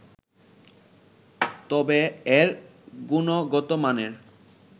তবে এর গুণগত মানের